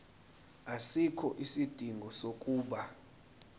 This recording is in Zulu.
asikho isidingo sokuba